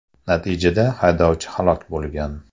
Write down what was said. Natijada haydovchi halok bo‘lgan.